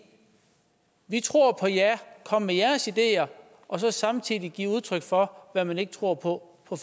vi tror på jer kom med jeres ideer og så samtidig give udtryk for hvad man ikke tror på på